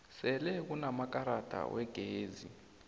sele kunamaelrada wegezi